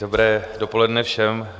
Dobré dopoledne všem.